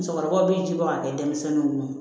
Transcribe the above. Musokɔrɔbaw bi ji bɔ ka kɛ denmisɛnninw